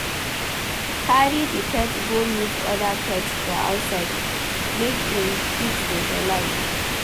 Carry di pet go meet oda pets for outside make im fit socialize